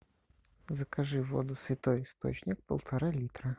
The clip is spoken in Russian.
закажи воду святой источник полтора литра